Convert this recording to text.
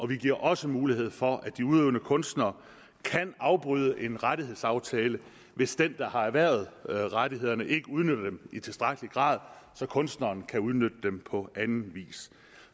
vi giver også mulighed for at de udøvende kunstnere kan afbryde en rettighedsaftale hvis den der har erhvervet rettighederne ikke udnytter dem i tilstrækkelig grad så kunstneren kan udnytte dem på anden vis